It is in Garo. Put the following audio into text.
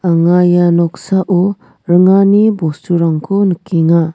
anga ia noksao ringani bosturangko nikenga.